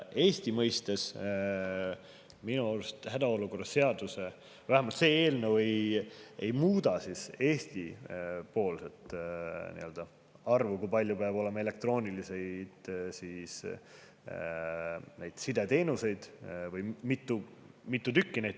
Eesti mõistes minu arust vähemalt see eelnõu ei muuda seda arvu, kui palju või mitu tükki peab olema elektroonilise side teenuseid.